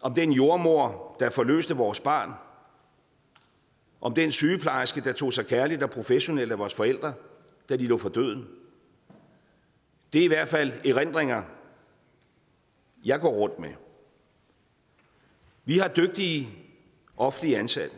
om den jordemoder der forløste vores barn om den sygeplejerske der tog sig kærligt og professionelt af vores forældre da de lå for døden det er i hvert fald erindringer jeg går rundt med vi har dygtige offentligt ansatte